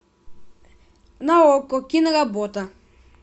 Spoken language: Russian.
на окко киноработа